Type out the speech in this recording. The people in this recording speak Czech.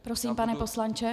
Prosím, pane poslanče.